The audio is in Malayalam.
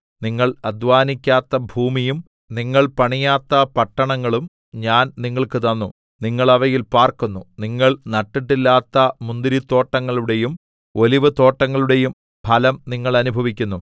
നിങ്ങൾ അധ്വാനിക്കാത്ത ഭൂമിയും നിങ്ങൾ പണിയാത്ത പട്ടണങ്ങളും ഞാൻ നിങ്ങൾക്ക് തന്നു നിങ്ങൾ അവയിൽ പാർക്കുന്നു നിങ്ങൾ നട്ടിട്ടില്ലാത്ത മുന്തിരിത്തോട്ടങ്ങളുടെയും ഒലിവുതോട്ടങ്ങളുടെയും ഫലം നിങ്ങൾ അനുഭവിക്കുന്നു